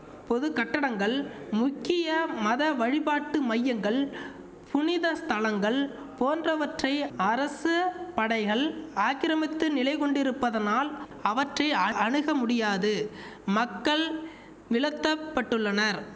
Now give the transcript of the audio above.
பொது கட்டடங்கள் முக்கிய மத வழிபாட்டு மையங்கள் புனித ஸ்தலங்கள் போன்றவற்றை அரச படைகள் ஆக்கிரமித்து நிலைகொண்டிருப்பதனால் அவற்றை அணுக முடியாது மக்கள் விலத்தப்பட்டுள்ளனர்